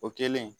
O kɛlen